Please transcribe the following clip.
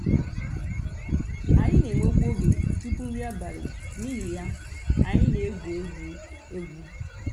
ànyị̀ nà-ènwèkwù ògè túpù nrí àbàlị̀ n'ìhì yà ànyị̀ nà-ègwù ègwù ègwù.